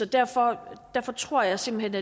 derfor tror jeg simpelt